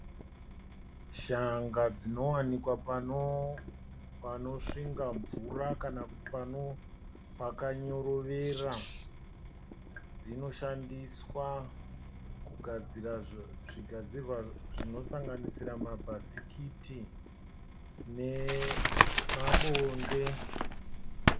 Shanga dzinowanika panosvinga mvura kana kuti pakanyorovera, dzino shandiswa kugadzira zvigadzirwa zvinosanganisira, mabhasikiti nema bonde.